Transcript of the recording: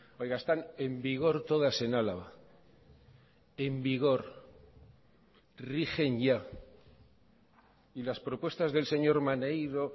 oiga están en vigor todas en álava en vigor rigen ya y las propuestas del señor maneiro